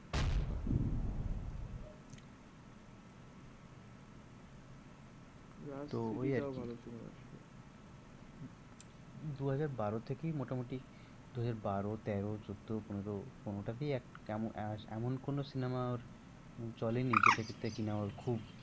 রাজ three D টাও ভালো cinema ছিল। দুহাজার বারো থেকেই মোটামুটি দুহাজার বারো তেরো চোদ্দো পনেরো কোনোটাতেই এমন কোনো cinema ওর চলেনি যেটা ক্ষেত্রে কিনা ওর খুব তো ওই আর কি।